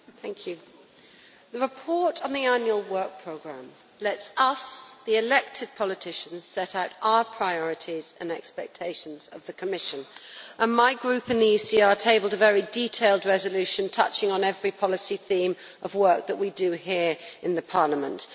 Mr President, the report on the annual work programme lets us the elected politicians set out our priorities and expectations of the Commission, and my Group in the ECR tabled a very detailed resolution touching on every policy theme of work that we do here in Parliament.